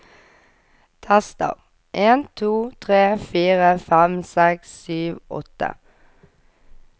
Tester en to tre fire fem seks sju åtte